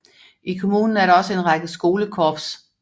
I kommunen er der også en række skolekorps